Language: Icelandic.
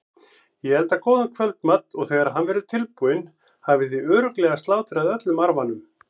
Ég elda góðan kvöldmat og þegar hann verður tilbúinn hafið þið örugglega slátrað öllum arfanum.